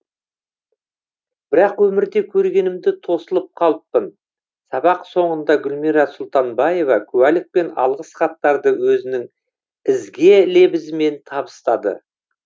бірақ өмірде көргенімде тосылып қалыппын сабақ соңында гүлмира сұлтанбаева куәлік пен алғыс хаттарды өзінің ізге лебізімен табыстады